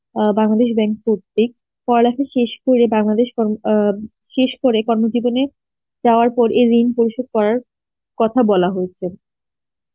অ্যাঁ বাংলাদেশ পড়ালেখা শেষ করে বাংলাদেশ কর্ম~ আ শেষ করে কর্ম জীবনে যাওয়ার পর এ ঋণ পরিষদ করার কথা বলা হয়েছে